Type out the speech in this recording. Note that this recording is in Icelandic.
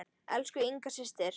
Elsku Inga systir.